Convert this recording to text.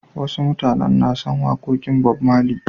Wasu mutanen na son waƙoƙin Bob Marley.